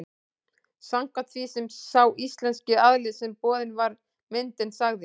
Samkvæmt því sem sá íslenski aðili sem boðin var myndin sagði mér.